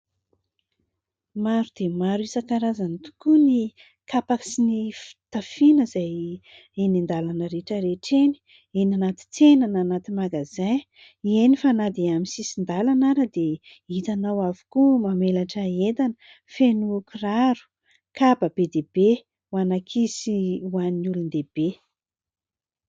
Maro dia maro isan-karazany tokoa ny kapa sy ny fitafiana izay eny an-dalana rehetrarehetra, eny ny anaty tsena na anaty magazay eny fa na dia amin'ny sisin-dalana ary dia hitanao avokoa mamelatra entana feno kiraro, kapa be dia be ho an'ankizy sy ho an'nyvolon-dehibe.